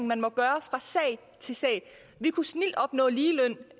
man må gøre fra sag til sag vi kunne snildt opnå ligeløn